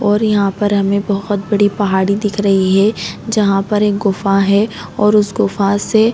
और यहाँ पर हमे बोहत बड़ी पहाड़ी दिख रही है जहाँ पर एक गुफा है और उस गुफा से--